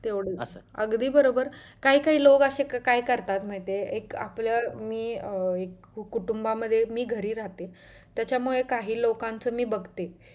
तेवढ अगदी बरोबर काही काही असे लोक काय असे करतात माहित आहे एक आपलं अं मी अं एक कुटुंब मध्ये मी घरी राहते त्याच्यामुळे काही लोकांचं मी बघते